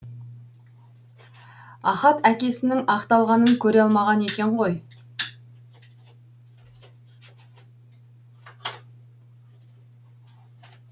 ахат әкесінің ақталғанын көре алмаған екен ғой